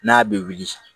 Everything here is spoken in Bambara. N'a bɛ wili